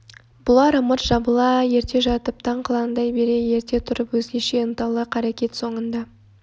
бұлар ымырт жабыла ерте жатып таң қылаңдай бере ерте тұрып өзгеше ынталы қарекет соңында